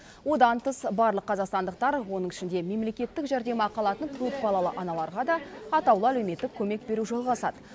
одан тыс барлық қазақстандықтар оның ішінде мемлекеттік жәрдемақы алатын көпбалалы аналарға да атаулы әлеуметтік көмек беру жалғасады